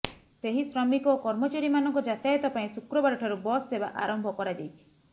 ସେହି ଶ୍ରମିକ ଓ କର୍ମଚାରୀମାନଙ୍କ ଯାତାୟାତ ପାଇଁ ଶୁକ୍ରବାରଠାରୁ ବସ୍ ସେବା ଆରମ୍ଭ କରାଯାଇଛି